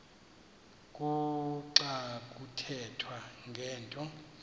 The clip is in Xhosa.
kuxa kuthethwa ngento